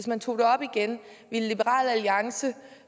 man tog det op igen ville liberal alliance